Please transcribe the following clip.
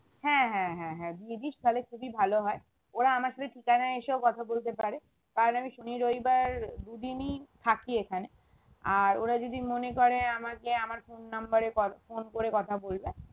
হ্যাঁ হ্যাঁ হ্যাঁ হ্যাঁ দিয়ে দিস তাহলে খুবই ভালো হয় ওরা আমার সাথে free time এ এসেও কথা বলতে পারে তাহলে আমি শনি রবিবার দু দিনই থাকি এখানে আর ওরা যদি মনে করে আমাকে আমার phone number এ call phone করে কথা বলবে